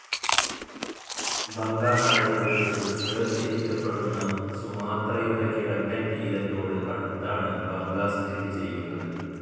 Bangka കടലിടുക്ക് വേർതിരിക്കപ്പെടുന്ന സുമാത്രയുടെ കിഴക്കൻ തീരത്തോട് അടുത്താണ് ബങ്കാ സ്ഥിതിചെയ്യുന്നത്.